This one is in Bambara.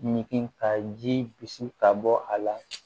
Ɲigi ka ji bisi ka bɔ a la